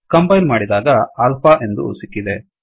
compile ಮಾಡಿದಾಗ alpha ಎಂದು ಸಿಕ್ಕಿದೆ